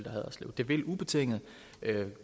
og haderslev det vil ubetinget